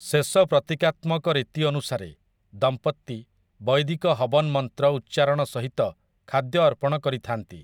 ଶେଷ ପ୍ରତୀକାତ୍ମକ ରୀତି ଅନୁସାରେ, ଦମ୍ପତି ବୈଦିକ ହବନ ମନ୍ତ୍ର ଉଚ୍ଚାରଣ ସହିତ ଖାଦ୍ୟ ଅର୍ପଣ କରିଥାନ୍ତି ।